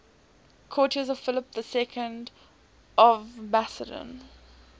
courtiers of philip ii of macedon